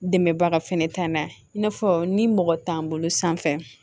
Dɛmɛbaga fɛnɛ ta n'a ye in'a fɔ ni mɔgɔ t'an bolo sanfɛ